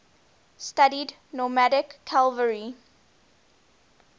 studied nomadic cavalry